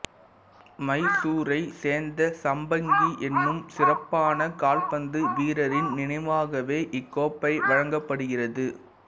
மைசூரைச் சேர்ந்த சம்பங்கி எனும் சிறப்பான கால்பந்து வீரரின் நினைவாகவே இக்கோப்பை வழங்கப்படுகிறது